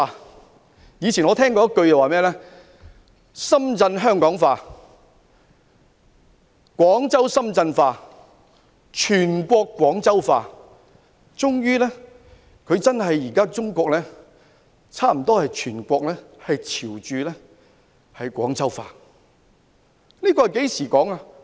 我以前聽過一句說話，是"深圳香港化，廣州深圳化，全國廣州化"，中國全國最終真的差不多朝着"廣州化"發展。